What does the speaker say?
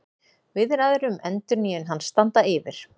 Viðræður um endurnýjun hans standa yfir